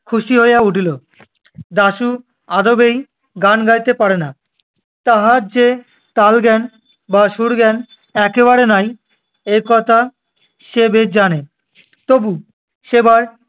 খুশি হইয়া উঠিল। দাশু আদবেই গান গাইতে পারে না, তাহার যে তালজ্ঞান বা সুরজ্ঞান একেবারে নাই, এ কথা সে বেশ জানে। তবু সেবার